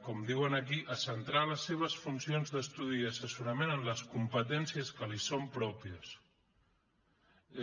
com diuen aquí a centrar les seves funcions d’estudi i assessorament en les competències que li són pròpies